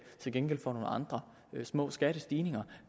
til gengæld for nogle andre små skattestigninger